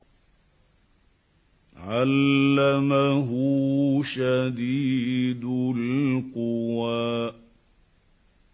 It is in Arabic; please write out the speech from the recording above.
عَلَّمَهُ شَدِيدُ الْقُوَىٰ